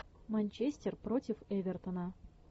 манчестер против эвертона